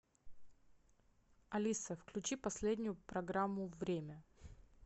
алиса включи последнюю программу время